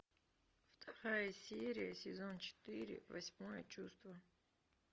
вторая серия сезон четыре восьмое чувство